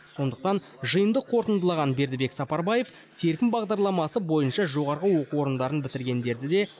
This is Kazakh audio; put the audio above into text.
сондықтан жиынды қорытындылаған бердібек сапарбаев серпін бағдарламасы бойынша жоғары оқу орындарын бітіргендерді де